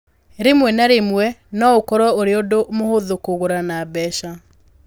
Rĩmwe na rĩmwe no ũkorũo ũrĩ ũndũ mũhũthũ kũgũra na mbeca.